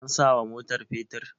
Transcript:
an sawa motar fetur?